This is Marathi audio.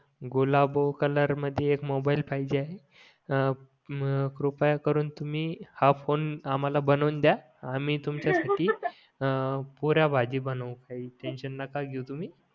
गुलाबो कलर मध्ये एक मोबाईल पाहिजे आहे अं मग कृपया करून तुम्ही हां फोन आमहाला बनवून द्या आम्ही तुमच्या साठी अं पुऱ्या भाजी बनवू काही टेन्शन नका घेऊ तुम्ही